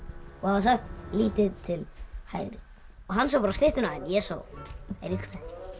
sagt lítið til hægri og hann sá bara styttuna en ég sá Eiríksstaði